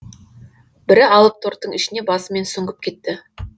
бірі алып торттың ішіне басымен сүңгіп кетті